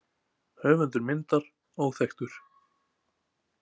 Höfundur myndar óþekktur.